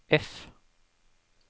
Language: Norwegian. F